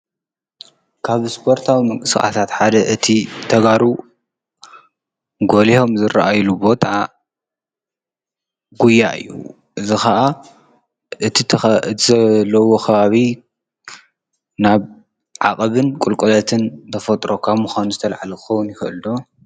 ካብ ስፖርታዊ ምንቅስቃሳት ሓደ እቲ ተጋሩ ጎሊሆም ዝርኣይሉ ቦታ ጉያ እዩ። እዚ ከዓ እቲ ዘለዉዎ ከባቢ ናብ ዓቀብን ቁልቁለትን ተፈጥሮ ካብ ምኳኑ ዝተልዓለ ክኸዉን ይኽእል ዶ?